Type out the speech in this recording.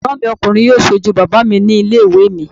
Ẹ̀gbọ́n mi ọkùnrin yóò sojú bàbá mi ní ilé ìwé mi